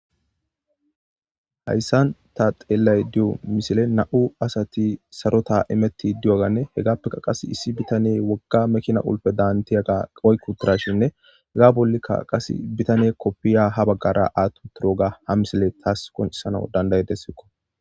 Haysan ta xelashe diza misilen nam'u asati diyogane hegapeka qase issi bitaney woga makina qulfedaniyaga oyqi utdashin hega bolika bitane wodiya athi utidoga ha misiley qoncises